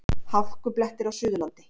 Hálkublettir á Suðurlandi